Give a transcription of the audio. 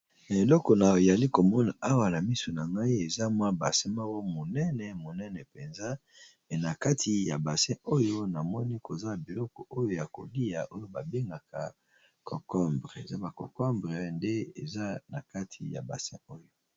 na eloko na oyali komona awala misu na ngai eza mwa base moko monene monene mpenza pe na kati ya base oyo namoni koza biloko oyo ya kolia oyo babengaka concombre eza baconcombre nde eza na kati ya base oyo